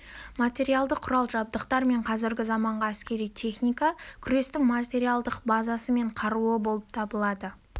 материалдық құрал-жабдықтар мен қазіргі заманғы әскери техника күрестің материалдық базасы мен қаруы болып табылады